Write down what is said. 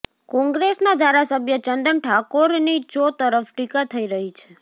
કોંગ્રેસના ધારાસભ્ય ચંદન ઠાકોરની ચો તરફ ટીકા થઈ રહી છે